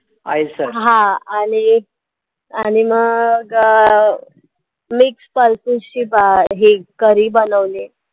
ice हा आणि एक आणि मग अं mix pulses ची बा अं हे curry बनवली आहे.